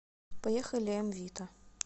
поехали м вита